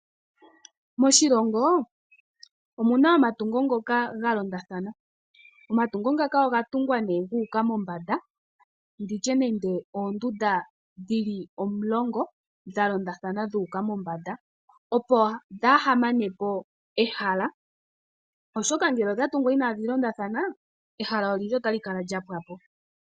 Moshilongo omuna omatungo ngoka ga londathana. Oga tungwa guuka mombanda nditye nenge oondunda dhili omulongo dha londathana dhuuka mombanda opo kaadhimanepo ehala.